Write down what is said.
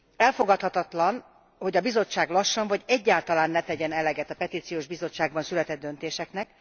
Elfogadhatatlan, hogy a Bizottság lassan, vagy egyáltalán ne tegyen eleget a Petíciós Bizottságban született döntéseknek.